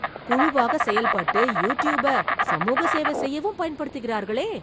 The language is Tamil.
குழுவாக செயல்பட்டு, யூடியூப்ப , சமூக சேவ செய்யவும் பயன்படுத்துகிறார்களே...